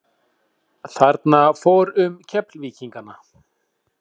Þarna fór um Keflvíkingana.